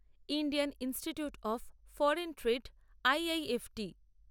Indian Institute of Foreign Trade IIFT